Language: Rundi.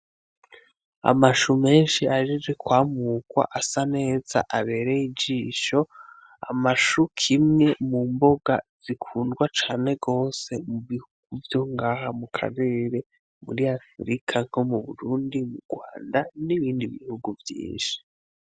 Amashu menshi ahejeje kwamurwa asa neza abereye ijisho, amashu kimwe mumboga zikundwa cane gose mubihugu vyo ngaha mukarere, muri afirika nko mu Burundi ,mu Rwanda, n'ibindi bigufi vyinshi.